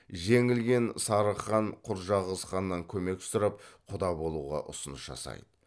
жеңілген сарығ хан құрджақыз ханнан көмек сұрап құда болуға ұсыныс жасайды